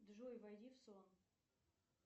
джой войди в сон